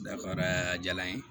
Dafara diyala n ye